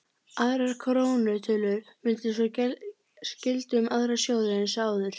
Aðrar krónutölur mundu svo gilda um aðra sjóði eins og áður.